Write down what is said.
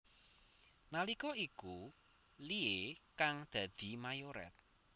Nalika iku Iie kang dadi mayoret